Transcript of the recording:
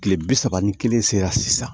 Kile bi saba ni kelen sera sisan